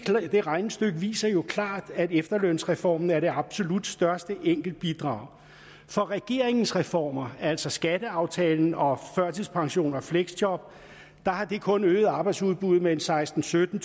det regnestykke viser jo klart at efterlønsreformen er det absolut største enkeltbidrag for regeringens reformer altså skatteaftale og førtidspension og fleksjob har det kun øget arbejdsudbuddet med en sekstentusind